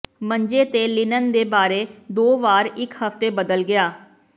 ਮੰਜੇ ਤੇ ਲਿਨਨ ਦੇ ਬਾਰੇ ਦੋ ਵਾਰ ਇੱਕ ਹਫ਼ਤੇ ਬਦਲ ਗਿਆ